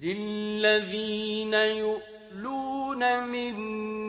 لِّلَّذِينَ يُؤْلُونَ مِن